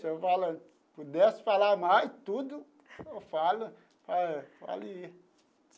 Se eu pudesse falar mais, tudo eu falo faria.